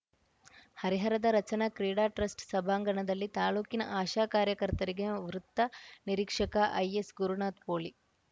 ಹರಿಹರದ ರಚನಾ ಕ್ರೀಡಾ ಟ್ರಸ್ಟ್‌ ಸಭಾಂಗಣದಲ್ಲಿ ತಾಲೂಕಿನ ಆಶಾ ಕಾರ್ಯಕರ್ತರಿಗೆ ವೃತ್ತ ನಿರೀಕ್ಷಕ ಐಎಸ್‌ ಗುರುನಾಥ್‌ ಪೋಲೀ